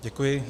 Děkuji.